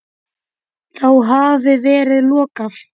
Þá hafi verið lokað.